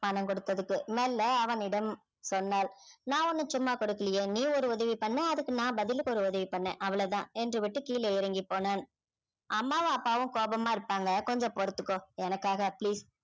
பணம் கொடுத்ததுக்கு மெல்ல அவனிடம் சொன்னாள் நான் ஒண்ணும் சும்மா குடுக்கலயே நீ ஒரு உதவி பண்ண அதுக்கு நான் பதிலுக்கு ஒரு உதவி பண்ணேன் அவ்வளவு தான் என்று விட்டு கீழே இறங்கிப் போனான் அம்மாவும் அப்பாவும் கோபமா இருப்பாங்க கொஞ்சம் பொறுத்துக்கோ எனக்காக please